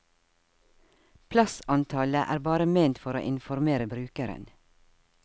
Plassantallet er bare ment for å informere brukeren.